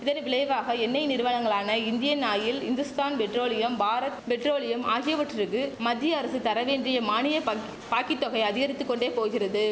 இதன் விளைவாக எண்ணெய் நிறுவனங்களான Indian Oil Hindustan petroleum Bharat petroleum ஆகியவற்றுக்கு மத்திய அரசு தர வேண்டிய மானிய பக் பாக்கித்தொகை அதிகரித்து கொண்டே போகிறது